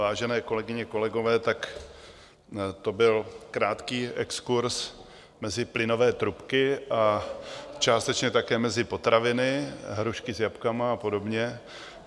Vážené kolegyně, kolegové, tak to byl krátký exkurz mezi plynové trubky a částečně také mezi potraviny, hrušky s jabkama a podobně.